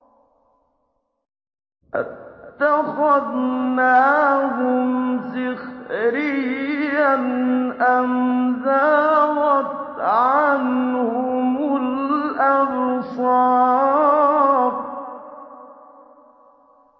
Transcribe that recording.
أَتَّخَذْنَاهُمْ سِخْرِيًّا أَمْ زَاغَتْ عَنْهُمُ الْأَبْصَارُ